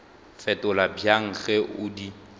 fetola bjang ge o di